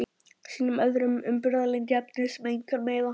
Sýnum öðrum umburðarlyndi í efnum sem engan meiða.